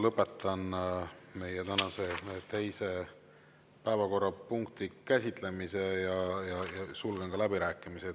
Lõpetan meie tänase teise päevakorrapunkti käsitlemise ja sulgen läbirääkimised.